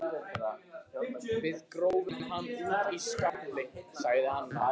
Við gröfum hann úti í skafli sagði Anna.